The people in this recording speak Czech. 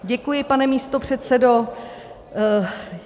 Děkuji, pane místopředsedo.